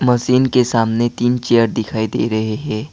Machine के सामने तीन चेयर दिखाई दे रहे है।